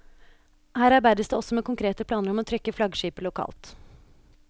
Her arbeides det også med konkrete planer om å trykke flaggskipet lokalt.